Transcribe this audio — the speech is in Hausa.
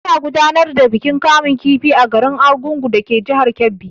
Ana gudanar da bikin kama kifi a garin Argungun dake jihar Kebbi.